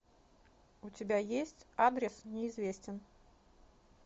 у тебя есть адрес неизвестен